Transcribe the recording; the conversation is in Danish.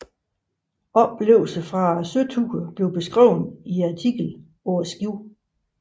Oplevelser fra søturen blev beskrevet i artiklen Paa Skibet